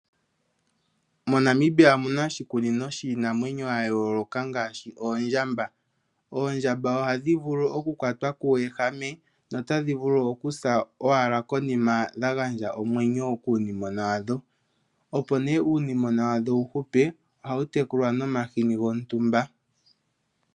Monamibia omu na oshikunino shiinamwenyo ya yooloka ngaashi oondjamba. Oondjamba oha dhi vulu oku kwatwa kuuwehame nota dhi vulu oku sa owala konima dha gandja omwenyo kuunimona wadho. Opo nee uunimona wadho wu hupe oha wu tekulwa nomahini gontumba.